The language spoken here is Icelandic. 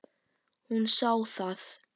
Hún sá það.